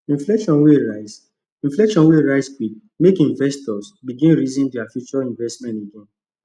inflation wey rise inflation wey rise quick make investors begin reason their future investment again